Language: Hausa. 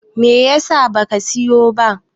me yasa ba ka siyo ba?